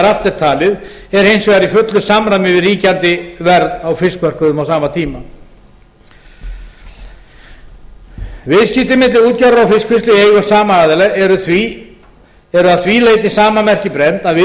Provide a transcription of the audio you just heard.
er talið er hins vegar í fullu samræmi við ríkjandi verð á fiskmörkuðum á sama tíma b viðskipti milli skyldra aðila viðskipti milli útgerðar og fiskvinnslu í eigu sama aðila eru að því leyti sama marki brennd